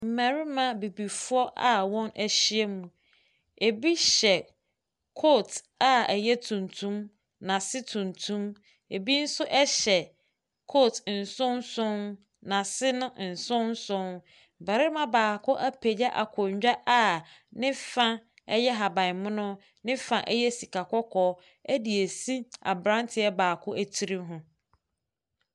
Mmarima abibifoɔ a wɔahyia mu. Ebi hyɛ coat a ɛyɛ tuntun. N'ahyɛ n'ase tuntum. Ebi nso hyɛ coat nson nson. N'ase nno nson nson. Barima apagya akonnwa a ne fa yɛ ahabanmono. Ne fa yɛ sika kɔkɔ de asi abranteɛ baako tiri ho.